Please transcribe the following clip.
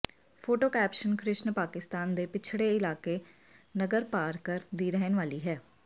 photo caption Krishna Pakistan ਦੇ ਪਿਛੜੇ ਇਲਾਕੇ ਨਗਰਪਾਰਕਰ ਦੀ ਰਹਿਣ ਵਾਲੀ ਹੈ